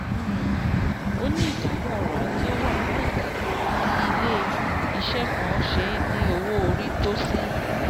um ó ní ìdààmú ọrọ̀ ajé wà láìka bí ilé-iṣẹ́ kan ṣe ní owó orí tó sí.